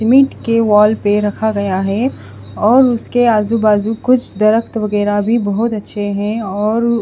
cement के wall पे रखा गया है और उसके आजू बाजू कुछ दरखत वगैरह भी बहुत अच्छे हैं और--